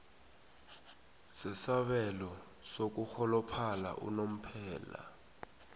sasabelo sokurholophala unomphela